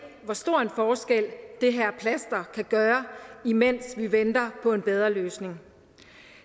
hvor stor en forskel det her plaster kan gøre imens vi venter på en bedre løsning